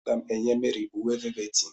M ga-enye Mary uwe velveti.